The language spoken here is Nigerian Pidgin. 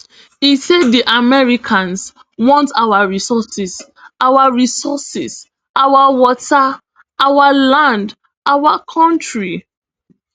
e say di americans want our resources our resources our water our land our kontri